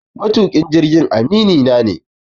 Matuƙin jirgin aminina ne.